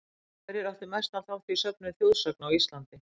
Hverjir áttu mestan þátt í söfnun þjóðsagna á Íslandi?